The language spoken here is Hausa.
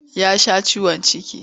Ya sha ciwon ciki.